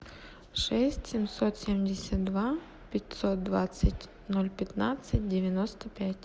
шесть семьсот семьдесят два пятьсот двадцать ноль пятнадцать девяносто пять